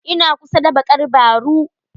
Ina kusa da bakar baru.